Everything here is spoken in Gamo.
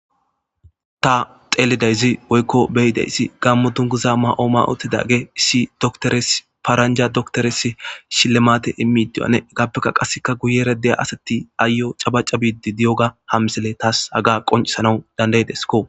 ta xeelidayzi woykko beyidayssi gammo dunguza ma7o ma7otidage issi doktores paaranja doktoresi shillemate imidiwane egappeka qasseka guyere deya asati aayo cabaca biidi diyoga hamsele taas haga qoncisanau dandaydesko